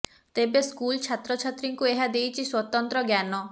ତେବେ ସ୍କୁଲ ଛାତ୍ର ଛାତ୍ରୀଙ୍କୁ ଏହା ଦେଇଛି ସ୍ବତନ୍ତ୍ର ଜ୍ଞାନ